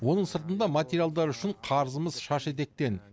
оның сыртында материалдар үшін қарызымыз шаш етектен